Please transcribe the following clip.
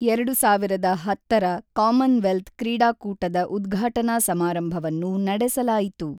ಎರಡು ಸಾವಿರದ ಹತ್ತರ ಕಾಮನ್‌ವೆಲ್ತ್ ಕ್ರೀಡಾಕೂಟದ ಉದ್ಘಾಟನಾ ಸಮಾರಂಭವನ್ನು ನಡೆಸಲಾಯಿತು.